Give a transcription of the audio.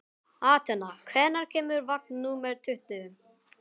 Atena, hvenær kemur vagn númer tuttugu?